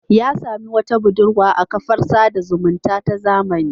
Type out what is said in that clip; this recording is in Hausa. Ya sami wata budurwa a kafar sada zumunta ta zamani.